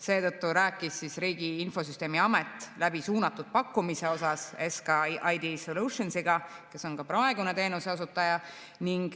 Seetõttu rääkis Riigi Infosüsteemi Amet läbi suunatud pakkumise teemal SK ID Solutionsiga, kes on ka praegune teenuseosutaja.